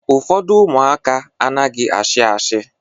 Ụfọdụ ụmụaka anaghị ashi ashi